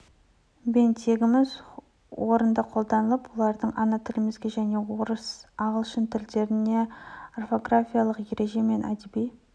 бен тегіміздің орынды қолданылып олардың ана тілімізде және орыс ағылшын тілдерінде орфографиялық ереже мен әдеби